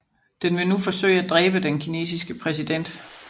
Den vil nu forsøge at dræbe den kinesiske præsident